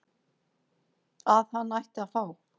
að hann ætti að fá